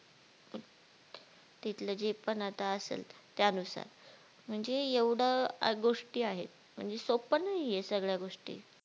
तिथला जे पन आत्ता असेल त्यानुसार म्हणजे एवढ्या गोष्टी आहेत म्हणजे सोपं नाहीयेत सगळ्या गोष्टी